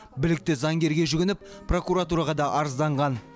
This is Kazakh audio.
білікті заңгерге жүгініп прокуратураға да арызданған